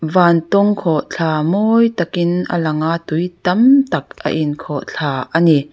vantawng khawhthla mawi takin a lang a tui tam tak a in khawih thla ani.